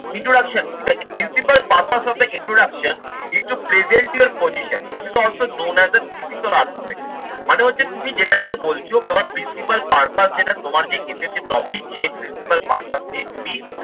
introduction is a principal purpose of the introduction is to present your position also known as a critical argument মানে হচ্ছে তুমি যেটা নিয়ে বলছো principal purpose যেটা তোমার যে essays এর topic সেই principal purpose নিয়ে তুমি